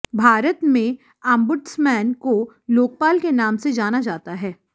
भारत में आम्बुड्समैन को लोकपाल के नाम से जाना जाता है